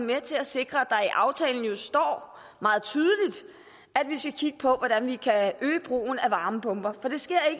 med til at sikre at i aftalen står at vi skal kigge på hvordan vi kan øge brugen af varmepumper for det sker